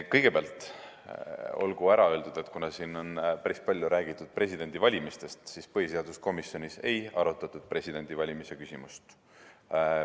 Kõigepealt olgu ära öeldud, et siin on päris palju räägitud presidendivalimisest, aga põhiseaduskomisjonis ei arutatud presidendivalimise küsimust.